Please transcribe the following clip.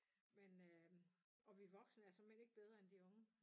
Men øh og vi voksne er såmænd ikke bedre end de unge